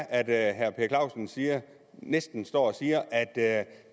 at jeg synes at